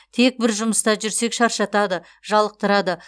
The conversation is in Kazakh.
тек бір жұмыста жүрсек шаршатады жалықтырады